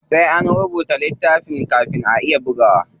Sai an rubuta littafin kafin ake iya bugawa.